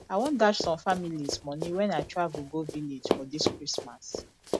i wan dash some families money wen i travel go village for dis christmas